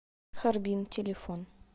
харбин телефон